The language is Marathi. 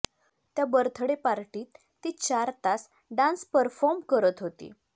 त्या बर्थडे पार्टीत ती चार तास डान्स परफॉर्म करत होती